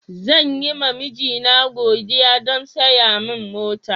Zan yi ma mijina godiya don saya min mota.